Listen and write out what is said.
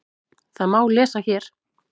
Það má lesa hér.